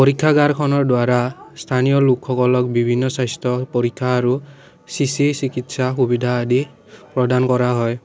খনৰ দুৱাৰা স্থানীয় লোকসকলক বিভিন্ন স্বাস্থ্য পৰীক্ষা আৰু চি_চি চিকিৎসা সুবিধা আদি প্ৰদান কৰা হয়।